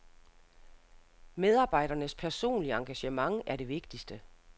Medarbejdernes personlige engagement er det vigtigste.